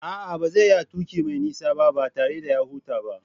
A'a, ba zai iya tuki mai nisa ba, ba tare da hutawa ba.